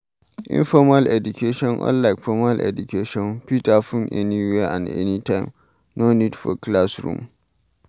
Informal education unlike formal education fit happen anywhere and anytime, no need for classroom